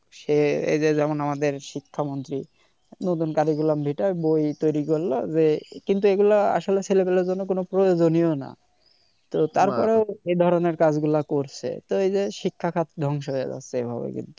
সে এ যে আমাদের শিক্ষা মন্ত্রি নতুন curriculum Vitae বই তৈরি করলো যে কিন্তু এগুলা আসলে ছেলে পেলের জন্য কোন প্রয়োজনীয় না তো তার পরেও এ ধরনের কাজ গুলা করছে তো এই যে শিক্ষা খাত দংশ হয়ে যাচ্ছে এভাবে